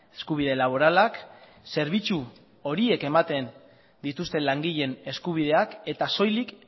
eskubide laboralak zerbitzu horiek ematen dituzten langileen eskubideak eta soilik